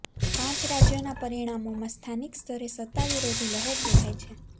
પાંચ રાજ્યોના પરિણામોમાં સ્થાનિક સ્તરે સત્તા વિરોધી લહેર દેખાય છે